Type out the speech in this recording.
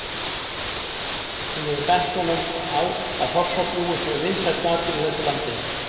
Hún hefur bent honum á að hrossabjúgu séu vinsæll matur í þessu landi